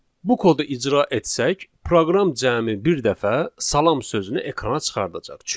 Bu kodu icra etsək, proqram cəmi bir dəfə salam sözünü ekrana çıxardacaq.